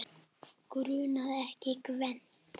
Grunaði ekki Gvend.